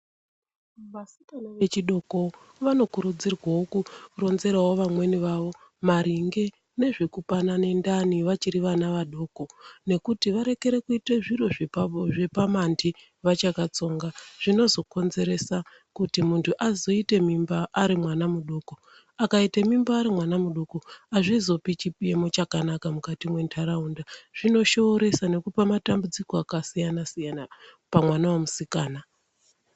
Vasikana vechidoko vanokurudzirwawo kuronzerawo vamweni vavo maringe nezvekupanane ndani vachiri vana vadoko nekuti varekere kuita zviro zvepamanthi vachakatsonga. Zvinozokonzera kuti muntu azoite mimba arimwana mudoko. Akaite mimba arimwana mudoko , hazvizopi chimiro chakanaka mukati mwendaraunda. Zvinoshooresa nekupa matambudziko yakasiyana pamwana wemusikana.